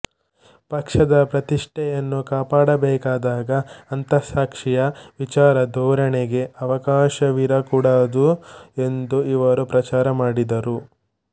ಪಕ್ಷದ ಪ್ರತಿಷ್ಠೆಯನ್ನು ಕಾಪಾಡಬೇಕಾದಾಗ ಅಂತಸ್ಸಾಕ್ಷಿಯ ವಿಚಾರ ಧೋರಣೆಗೆ ಅವಕಾಶವಿರಕೂಡದು ಎಂದು ಇವರು ಪ್ರಚಾರ ಮಾಡಿದರು